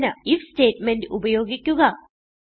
സൂചന IF statement ഉപയോഗിക്കുക